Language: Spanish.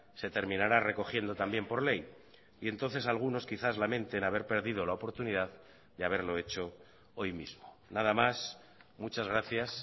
se terminará recogiendo también por ley y entonces algunos quizás lamenten haber perdido la oportunidad de haberlo hecho hoy mismo nada más muchas gracias